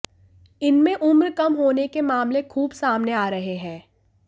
इनमें उम्र कम होने के मामले खूब सामने आ रहे हैं